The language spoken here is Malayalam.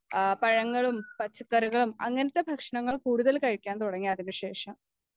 പഴങ്ങളും പച്ചക്കറികളും അങ്ങനത്തെ ഭക്ഷണങ്ങൾ കൂടുതൽ കഴിക്കാൻ തുടങ്ങി അതിനുശേഷം